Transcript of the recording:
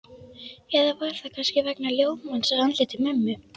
Eða var það kannski vegna ljómans á andliti mömmu?